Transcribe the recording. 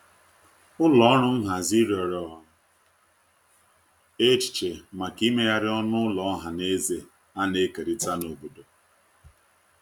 ụlọ ọrụ nhazi riọrọ echiche maka imeghari ọnụ ụlọ ohanaeze ana ekerita n'obodo